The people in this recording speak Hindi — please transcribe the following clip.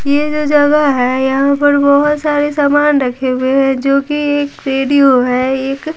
ये जो जगह हैयहाँ पर बहुत सारे सामान रखे हुए हैं जो कि एक वीडियो है एक--